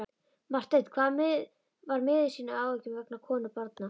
Marteinn var miður sín af áhyggjum vegna konu og barna.